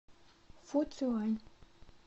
фуцюань